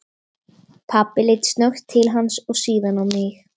Pabbi leit snöggt til hans og síðan á mig.